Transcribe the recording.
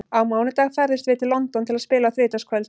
Á mánudag ferðumst við til London til að spila á þriðjudagskvöld.